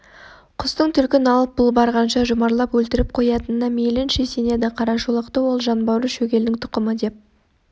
құстың түлкін алып бұл барғанша жұмарлап өлтіріп қоятынына мейлінше сенеді қарашолақты ол жанбауыр шөгелдің тұқымы деп